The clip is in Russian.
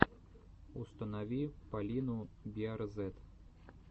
установи полину биарзэт